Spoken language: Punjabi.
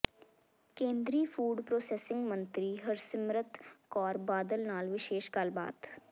ਕੇਂਦਰੀ ਫੂਡ ਪ੍ਰੋਸੈਸਿੰਗ ਮੰਤਰੀ ਹਰਸਿਮਰਤ ਕੌਰ ਬਾਦਲ ਨਾਲ ਵਿਸ਼ੇਸ਼ ਗੱਲਬਾਤ